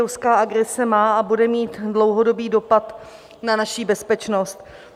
Ruská agrese má a bude mít dlouhodobý dopad na naši bezpečnost.